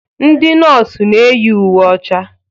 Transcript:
Ndị nọọsụ na eyi uwe ọcha.